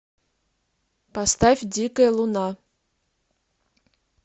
поставь дикая луна